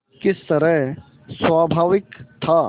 किस तरह स्वाभाविक था